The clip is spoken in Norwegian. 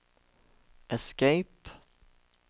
escape